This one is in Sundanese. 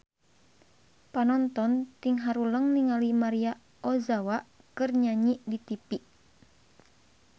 Panonton ting haruleng ningali Maria Ozawa keur nyanyi di tipi